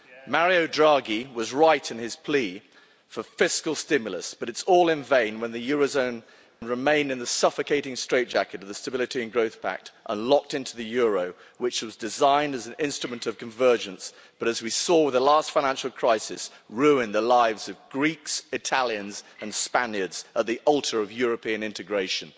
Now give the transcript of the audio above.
Mario Draghi was right in his plea for fiscal stimulus, but it's all in vain when the euro area remains in the suffocating straitjacket of the Stability and Growth Pact and locked into the euro, which was designed as an instrument of convergence but, as we saw in the last financial crisis, ruined the lives of Greeks, Italians and Spaniards at the altar of European integration.